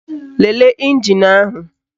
Lelee ịnjin ahụ